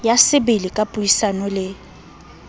ya sebele ka puisano le